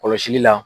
Kɔlɔsili la